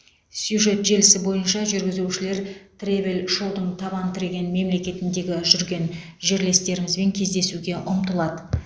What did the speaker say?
сюжет желісі бойынша жүргізушілер тревель шоудың табан тіреген мемлекетіндегі жүрген жерлестерімізбен кездесуге ұмтылады